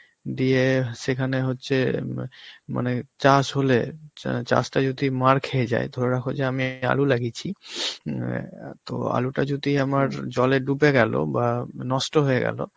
দিয়ে সেখানে হচ্ছে মা~ মানে চাষ হলে, চা~ চাষটা যদি মার খেয়ে যায়, ধরে রাখো যে আমি আলু লাগিয়েছি, অ্যাঁ তো আলুটা যদি আমার জলে ডুবে গেল, বা নষ্ট হয়ে গেল,